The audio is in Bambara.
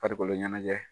Farikolo ɲɛnajɛ